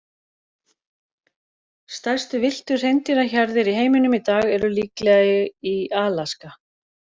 Stærstu villtu hreindýrahjarðir í heiminum í dag eru líklega í Alaska.